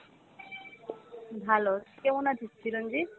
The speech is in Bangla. ভালো, তুই কেমন আছিস চিরঞ্জিত?